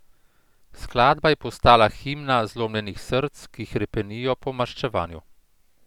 Skladba je postala himna zlomljenih src, ki hrepenijo po maščevanju.